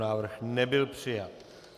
Návrh nebyl přijat.